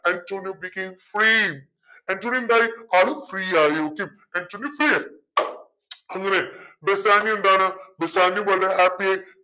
Antonio became free Antonio എന്തായി ആൾ free ആയി okay ആന്റോണിയോ free ആയി ബെസാനിയോ എന്താണ് ബെസാനിയോ വളരെ happy ആയി